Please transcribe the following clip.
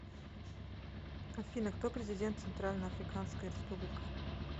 афина кто президент центральноафриканская республика